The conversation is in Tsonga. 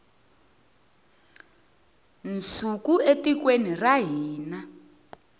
nsuku etikweni ra hina